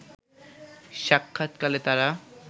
সাক্ষাৎকালে তারা